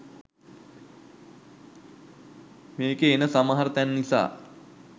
මේකෙ එන සමහර තැන් නිසා